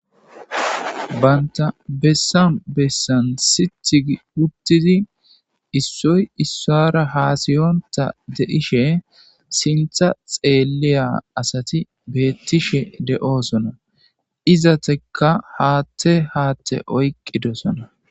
Banththa bessan bessan siththi gi uththidi issoy issuwaara haasiyonththa de7ishe sinththa xeelliya asathi beeththishe de7oosona; izathekka haaththe haaththe oyqqidosona.